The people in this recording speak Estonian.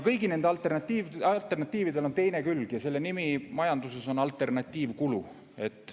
Kõigil nendel alternatiividel on teine külg ja selle nimi majanduses on alternatiivkulu.